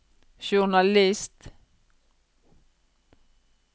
journalist